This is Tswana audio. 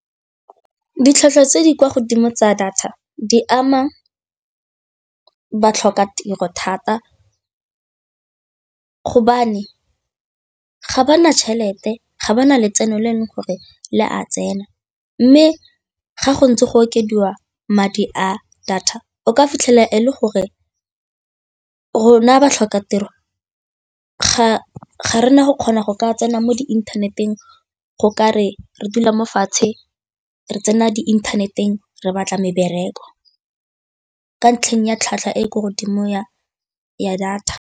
Ditlhwatlhwa tse di kwa godimo tsa data di ama batlhokatiro thata gobane ga ba na tšhelete ga ba na letseno le le gore le a tsena mme ga go ntse go okediwa madi a data o ka fitlhela e le gore rona batlhokatiro ga rena go kgona go ka tsena mo diinthaneteng go ka re re dula mo fatshe re tsena diinthaneteng re batla mebereko ka ntlheng ya tlhwatlhwa e ko godimo ya data.